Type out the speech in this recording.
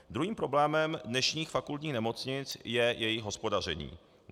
Druhým problémem dnešních fakultních nemocnic je jejich hospodaření.